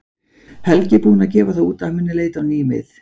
Helgi er búinn að gefa það út að hann mun leita á ný mið.